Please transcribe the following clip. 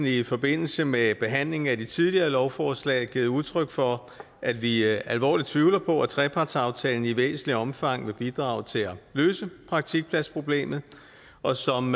i forbindelse med behandlingen af de tidligere lovforslag givet udtryk for at vi alvorligt tvivler på at trepartsaftalen i væsentligt omfang vil bidrage til at løse praktikpladsproblemet og som